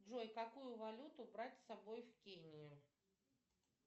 джой какую валюту брать с собой в кению